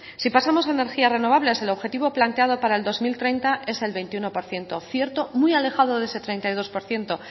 si pasamos a energías renovables el objetivo planteado para el dos mil treinta es el veintiuno por ciento muy alejado de ese treinta y dos por ciento